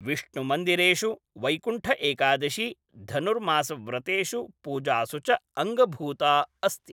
विष्णुमन्दिरेषु वैकुण्ठ एकादशी, धनुर्मासव्रतेषु पूजासु च अङ्गभूता अस्ति।